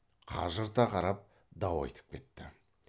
қажырта қарап дау айтып кетті